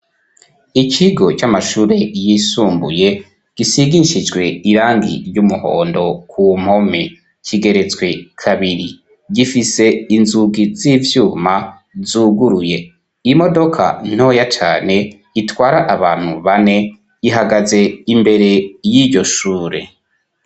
ikigo c'amashure yisumbuye gisigishijwe irangi ry'umuhondo ku mpome. Kigeretswe kabiri, gifise inzugi z'ivyuma zuguruye, imodoka ntoya cane itwara abantu bane ihagaze imbere y'iryo shure.